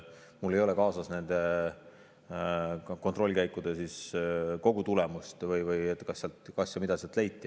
Mul ei ole kaasas nende kontrollkäikude kogu tulemust või kas ja mida sealt leiti.